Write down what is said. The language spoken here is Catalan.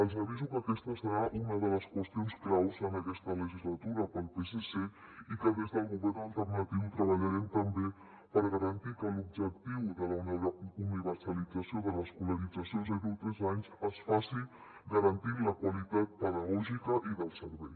els aviso que aquesta serà una de les qüestions claus en aquesta legislatura per al psc i que des del govern alternatiu treballarem també per garantir que l’objectiu de la universalització de l’escolarització de zero a tres anys es faci garantint la qualitat pedagògica i del servei